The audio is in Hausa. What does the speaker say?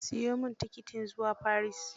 Siyo min tikitin zua Paris